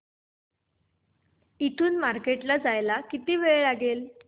इथून मार्केट ला जायला किती वेळ लागेल